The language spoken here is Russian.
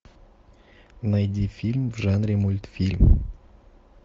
найди фильм в жанре мультфильм